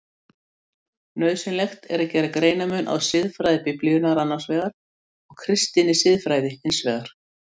Nauðsynlegt er að gera greinarmun á siðfræði Biblíunnar annars vegar og kristinni siðfræði hins vegar.